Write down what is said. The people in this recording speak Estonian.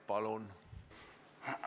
Palun!